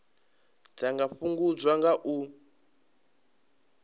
dza nga fhungudzwa nga u